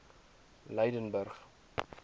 lydenburg